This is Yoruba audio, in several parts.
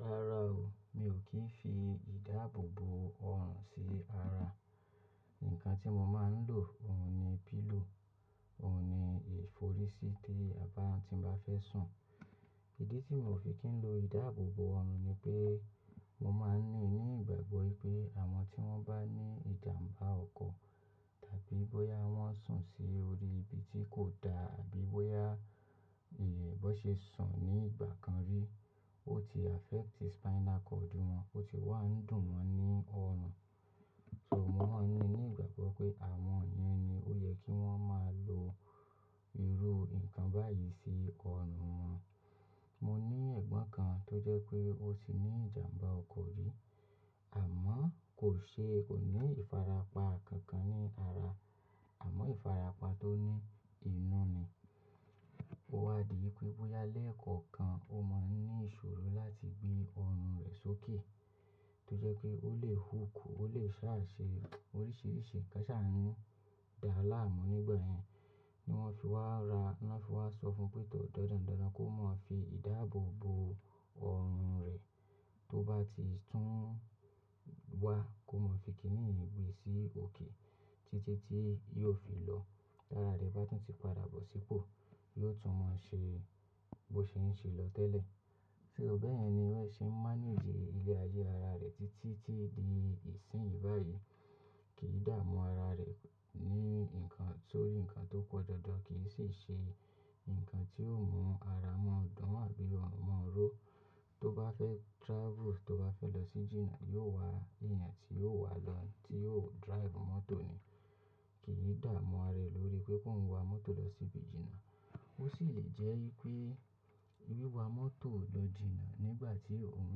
Rárá o, mi ò kí ń fi ìdáàbò bo ọrùn sí ara. Nǹkan tí mo máa ń lò òun ni pillow, òun ni ìforí sí tí àbá tí n bá fẹ́ sùn. Ìdí tí mi o fi kì í lo ìdáàbò bo ọrùn ni pé mo máa ń ní ni gbàgbọ́ pé àwọn tí wọ́n bá ní ìjàmbá ọkọ̀, tàbí bóyá wọ́n sùn sí orí ibi tí kò dá àbí bóyá ìyè bón ṣe sùn ní ìgbà kan rí, ó ti affect spinal cord wọn, ó ti wá ń dùn won ní ọrùn. So mo máa ńi ní ìgbàgbọ́ pé àwọn yẹn ni ó yẹ kí wọ́n máa lo irú nǹkan báyìí sí ọrùn wọn. Mo ní ẹ̀gbọ́n kan tó jẹ́ pé ó ti ní ìjàmbá ọkọ̀ rí, àmọ́ kò ṣe kò ní ìfarapa kankan ní ara. Àmọ́ ìfarapa tó ní inú ni. Ó wá di pé bóyá léẹ̀kọ̀kan ó máa ń ní ìṣòro láti gbé ọrùn rẹ̀ sókè. Tó jẹ́ pé ó lè hook, ó lè sá ṣe oríṣìíríṣìí. Ká sa ni o ndà á láàmú nígbà yẹn. Ni wọ́n fi wá ra, wọ́n fi wá sọ fún pé tò dandan dandan kó máa fi ìdáàbò bo ọrùn rẹ. Tó bá ti tún wá kó máa fi kíní yen gbe sí òkè títí tí yóò fi lọ. Tára rẹ̀ bá tún ti padà bọ̀ sípò, yóò tún maa ṣe bó ṣe ń ṣe lọ tẹ́lẹ̀. Ṣò bẹ́ yen ni ó ṣe ń manage iléra ara rẹ̀ títí tí di ìsìn yìí báyìí. Kì í dààmú ara rẹ̀ ní nǹkan sórí nǹkan tó pọ̀ dandan, kì í sì ṣe nǹkan tí yió mú ara mọ́ dun àbí ọrùn mọ́ ró. Tó bá fẹ́ travel, tó bá fẹ́ lọ sí jìnà, yóò wá èèyàn tí yóò wá lọ, tí yóò drive mọ́tò ni. Kì í dààmú ara rẹ̀ lórí pé kóun wa mọ́tò lọ síbi jìnà. Ó sì lè jẹ́ yí wipé wíwa mọ́tò lọ jìnà nígbà tí òun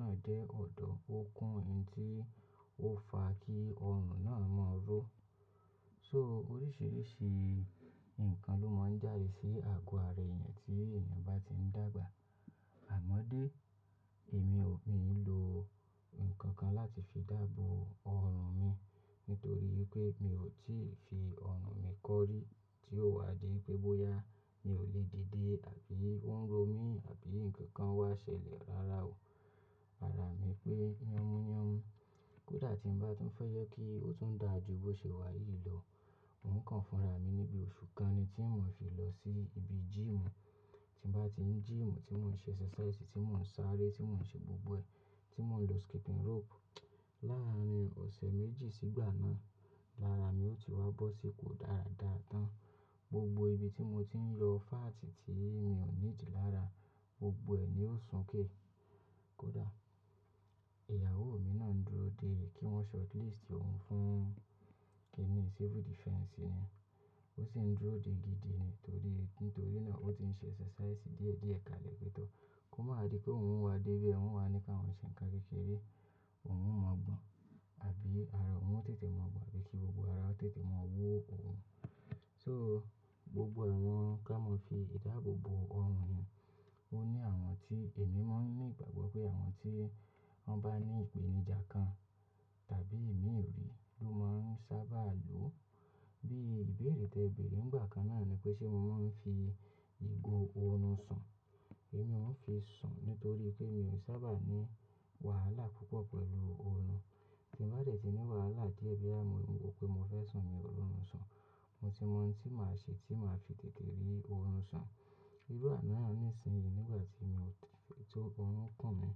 náà jẹ́ ọ̀dọ́, ó kún ohun tí ó fa kí ọrùn náà mọ́ ró. So oríṣìíríṣìí nǹkan ló máa ń jáde sí àgọ́ ara èèyàn tí èèyàn bá ti ń dàgbà. Àmọ́ dé, èmi ò ní lo nǹkan kan láti fi dààbò ọrùn mi nítorí wipé mi ò tíì fi ọrùn mi kọ́rí tí ó wá di pé bóyá mi ò lè dìde àbí ó ń ro mí àbí nǹkan kan wá ṣẹlẹ̀. Rárá o. Ara mi pé, yanmu yanmu Kódà tí ń bá tún fẹ́ je kí ó tún dàa jú bó ṣe wá yìí lọ, nǹkan fúnra mi níbi oṣù kan ni tí maa fi lọ sí ibi gym. Tí ń bá ti ń gymu, tí mo ń ṣe exercise, tí mo ń sáré, tí mo ń ṣe gbogbo ẹ̀, tí mo ń lo skipping rope. Lárin ọ̀sẹ̀ méjì sígbà náà, lára mi ò ti wá bọ́ sí ipò dáradára tán. Gbogbo ibi tí mo ti ń lọ fati tí mi ò needi lára, gbogbo ẹ̀ ni ó sùn ké. Kódà ìyàwó mi náà ń dúró dè kí wọ́n shortlist òun fún kini Civil Defence ni. Ó sì ń dúró de gidi ni tori nítorí náà ó ti ń ṣe exercise díẹ̀ díẹ̀ kalẹ̀ pé tò kó máa di pé òun ń wá dé won o wá ní káwọn ṣe ǹkan kékeré òun ò maa gbọ́n. Àbí ara òun ó tètè mọ́ gbọ́n àbí kí gbogbo ara tètè ma wo òun. So gbogbo àwọn ká mọ fi ìdáàbò bo ọrùn yẹn, ó ní àwọn tí èmi máa ńi ní ìgbàgbọ́ pé àwọn tí wọ́n bá ní ìpènijà kan tàbí imí ri ló máa ń sáabà lo. Bí ìbéèrè tí ẹ bèèrè nígbà kan náà ni pé ṣé mo máa ń fi ìgò oorun sùn. Èmi ò ń fi sùn nítorí pé mi ò sábà ní wàhálà púpọ̀ pẹ̀lú ooru. Tí ń bá dẹ̀ tí ní wàhálà díẹ̀ boya mọ́ rò pé mo fẹ́ sùn, mi ò rorun sùn. Mo ti mọ ohun tí màá ṣe tí màá fi tètè rí oorun sùn. Irú àná yen ni ìsìn yìí nígbà tí mi ò ti, tó ọrùn kùn mí.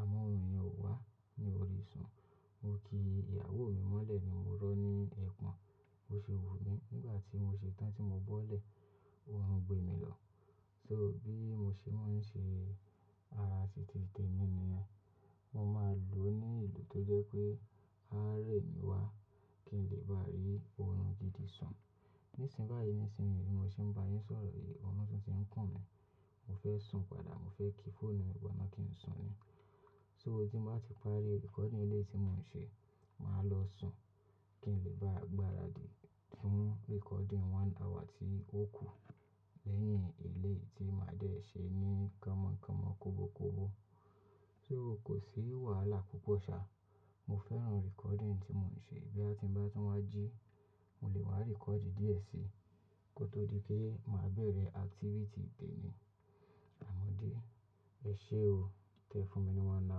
Àmọ́ òrun yẹn ò wá mi orí i sùn. Mo kí ìyàwó mi mọ́lẹ̀ ni mo rọ̀ ní ẹ̀pọ̀n, bo ṣe wun mí. Nígbà tí mo ṣe tán tí mo bọ́lẹ̀, òrun gbé mi lọ. So bí mo ṣe máa ń ṣe arasiti tẹ́ mi ni yen, mo máa lò ó ní ìlò tó jẹ́ pé ara rẹ̀ mi wá kí n lè bá rí oorun gidi sùn. Nísìnyí báyìí nísìnyí bi mo ṣe ń bá yín sọ̀rọ̀ yìí, oorun tun ti ń kùn mí. Mo fẹ́ sùn padà, mo fẹ́ ki fóònù mi bọ̀ná kí n sùn ni. So tí mo bá ti parí recording ilé tí mò ń ṣe, màá lọ sùn kí n lè bá gbáradì fún recording one hour tí ó kù lẹ́yìn eleyi tí màá dẹ̀ ṣe ní kánmọ̀ kánmọ̀, kóbo kóbo. So kò sí wàhálà púpọ̀ sa. Mo fẹ́ràn recording tí mò ń ṣe. Boya ti ń bá tún wá jí, mo lè wá record díẹ̀ síi kó tó di pé màá bẹ̀rẹ̀ activity tẹ́ni. Àmọ́dé, ẹ ṣé o. Tẹ́ ẹ fún mi ní one hour.